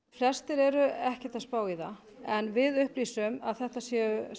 flestir eru ekkert að spá í það en við upplýsum að þetta séu